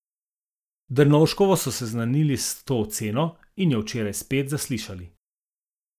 Dernovškovo so seznanili s to oceno in jo včeraj spet zaslišali.